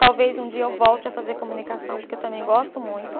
Talvez um dia eu volte a fazer comunicação, porque eu também gosto muito.